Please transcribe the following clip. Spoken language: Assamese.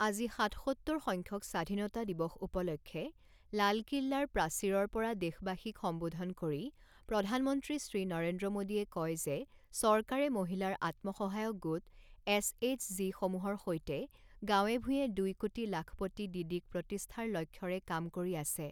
আজি সাতসত্তৰ সংখ্যক স্বাধীনতা দিৱস উপলক্ষে লালকিল্লাৰ প্ৰাচীৰৰপৰা দেশবাসীক সম্বোধন কৰি প্ৰধানমন্ত্ৰী শ্ৰী নৰেন্দ্ৰ মোদীয়ে কয় যে চৰকাৰে মহিলাৰ আত্মসহায়ক গোট এছএইচজি সমূহৰ সৈতে গাঁৱে ভূঞে দুই কোটি লাখপতি দিদিক প্ৰতিষ্ঠাৰ লক্ষ্যৰে কাম কৰি আছে।